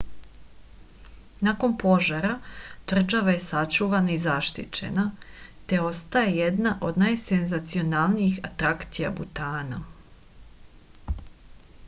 nakon požara tvrđava je sačuvana i zaštićena te ostaje jedna od najsenzacionalnijih atrakcija butana